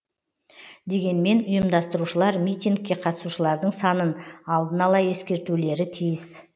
дегенмен ұйымдастырушылар митингке қатысушылардың санын алдын ала ескертулері тиіс